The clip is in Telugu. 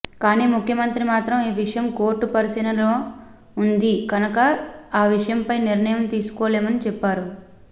కాని ముఖ్యమంత్రి మాత్రం ఈ విషయం కోర్టు పరిశీలనలో ఉంది కనక ఆ విషయంపై నిర్ణయం తీసుకోలేమని చెప్పారు